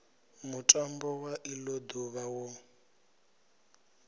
mutambo wa ilo duvha wo